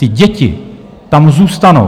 Ty děti tam zůstanou.